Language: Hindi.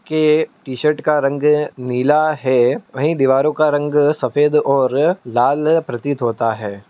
के टीशर्ट का रंग नीला है वहीं दीवारों का रंग सफेद और लाल प्रतीत होता है।